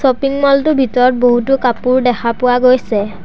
Shopping mall টোৰ ভিতৰত বহুতো কাপোৰ দেখা পোৱা গৈছে।